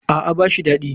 A'a ba shi dadi.